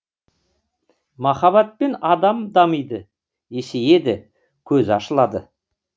махаббатпен адам дамиды есейеді көзі ашылады